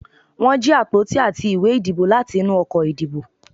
won jí apotí atí ìwé ìdíbò latí inú ọkọ ìdíbò